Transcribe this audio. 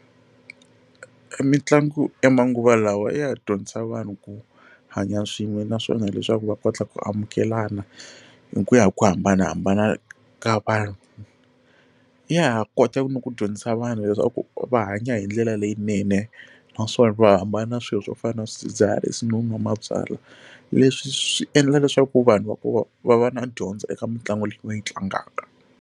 Mitlangu ya manguva lawa ya dyondzisa vanhu ku hanya swin'we naswona leswaku va kota ku amukelana hi ku ya hi ku hambanahambana ka vanhu ya ha kota ku ni ku dyondzisa vanhu leswaku va hanya hi ndlela leyinene naswona va hambana swilo swo fana na swidzidziharisi no nwa mabyala leswi swi endla leswaku vanhu va ku va va na dyondza eka mitlangu leyi va yi tlangaka.